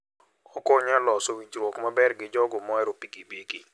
Okonyo e loso winjruok maber gi jogo mohero pikipiki.